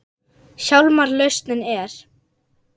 Hjálmar lausnin er.